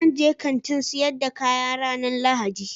Zan je Kantin sayar da kaya ranan lahadi.